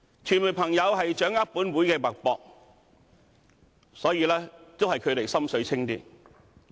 傳媒朋友掌握本會的脈搏，所以還是他們"心水清"。